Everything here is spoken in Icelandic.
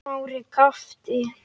Smári gapti.